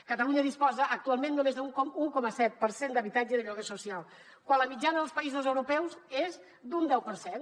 catalunya disposa actualment només d’un un coma set per cent d’habitatge de lloguer social quan la mitjana dels països europeus és d’un deu per cent